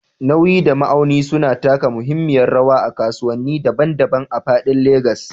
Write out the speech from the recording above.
Nauyi da ma'auni suna taka muhimmiyar rawa a kasuwanni daban-daban a faɗin Legas.